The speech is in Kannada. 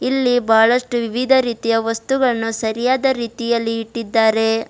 ಇಲ್ಲಿ ಬಹಳಷ್ಟು ವಿವಿಧ ರೀತಿಯ ವಸ್ತುಗಳನ್ನು ಸರಿಯಾದ ರೀತಿಯಲ್ಲಿ ಇಟ್ಟಿದ್ದಾರೆ.